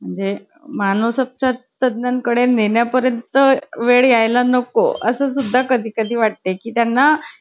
जयंती वाली ना, जिल्हा परिषद वाली. अरे काय मजा यायची मराठी शाळेत. एक तारीख ला result घेयला जायचो जायचो ना, तेव्हा मग ते झेंडा वंदन वगैरे करायचं.